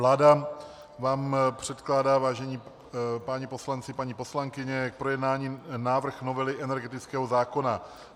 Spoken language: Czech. Vláda vám předkládá, vážení páni poslanci, paní poslankyně, k projednání návrh novely energetického zákona.